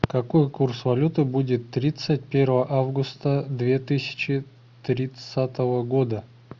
какой курс валюты будет тридцать первого августа две тысячи тридцатого года